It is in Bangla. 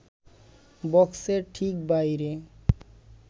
বক্সের ঠিক বাইরে